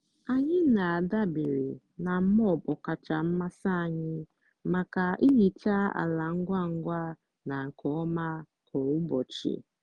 anyị na-adabere na mop ọkacha mmasị anyị maka ihicha ala ngwa ngwa na nke ọma kwa ụbọchị.